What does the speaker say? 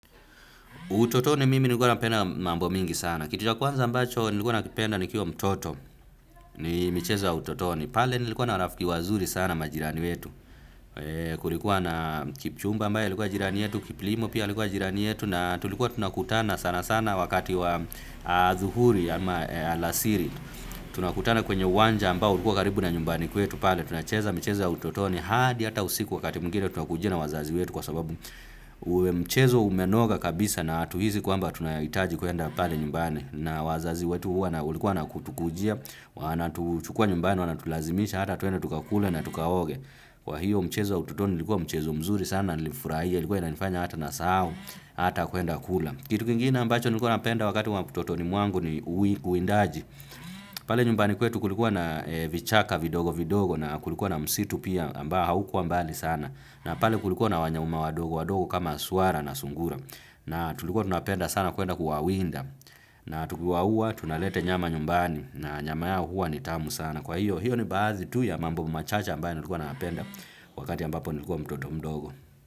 Utotoni mimi nilikuwa napenda mambo mingi sana. Kitu ya kwanza ambacho nilikuwa nakipenda nikiwa mtoto ni michezo ya utotoni. Pale nilikuwa na rafiki wazuri sana majirani wetu. Kulikuwa na kipchumba ambae alikuwa jirani wetu, kiplimo pia alikuwa jirani yetu. Na tulikuwa tunakutana sana sana wakati wa adhuhuri ama alasiri. Tunakutana kwenye uwanja ambao ulikuwa karibu na nyumbani kwetu. Pale tunacheza michezo ya utotoni hadi hata usiku wakati mwingine tunakujiwa na wazazi wetu kwa sababu mchezo umenoga kabisa na atuhizi kwamba tunaitaji kuenda pale nyumbani na wazazi wetu ulikuwa na kutukujia, wanatuchukua nyumbani, wanatulazimisha hata tuende tukakule na tukaoge, kwa hiyo mchezo ya utotoni ilikuwa mchezo mzuri sana nilifurahia, ilikuwa inanifanya hata nasahau, hata kuenda kula kitu kingine ambacho nilikuwa napenda wakati wa utotoni mwangu ni uwindaji pale nyumbani kwetu kulikuwa na vichaka vidogo vidogo na kulikuwa na msitu pia ambao haukua mbali sana na pale kulikuwa na wanyama wadogo wadogo kama suara na sungura na tulikuwa tunapenda sana kuenda kuawinda na tukiwauwa tunalete nyama nyumbani na nyama yao huwa ni tamu sana kwa hiyo hiyo ni baazi tu ya mambo machache ambayo nilikuwa napenda wakati ambapo nilikuwa mtoto mdogo.